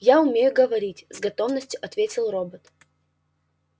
я умею говорить с готовностью ответил робот